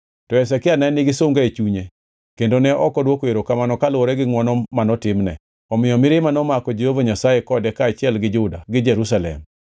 To Hezekia ne nigi sunga e chunye kendo ne ok odwoko erokamano kaluwore gi ngʼwono manotimne; omiyo mirima nomako Jehova Nyasaye kode kaachiel gi Juda gi Jerusalem.